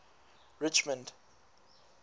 richmond